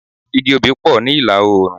Igi obì pọ̀ ní ìlà-oòrùn.